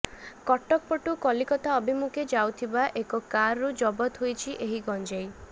କଟକ ପଟୁ କଲିକତା ଅଭିମୁଖେ ଯାଉଥିବା ଏକ କାରରୁ ଜବତ ହୋଇଛି ଏହି ଗଞ୍ଜେଇ